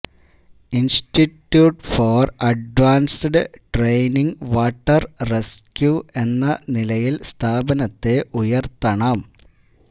institute for advanced training water rescue എന്ന നിലയില് സ്ഥാപനത്തെ ഉയര്ത്തണം